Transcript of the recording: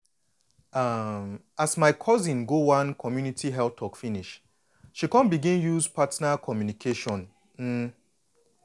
um as my cousin go one community health talk finish she come begun use partner communication um